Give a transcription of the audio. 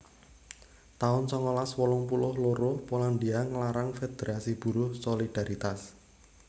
taun songolas wolung puluh loro Polandia nglarang federasi buruh Solidaritas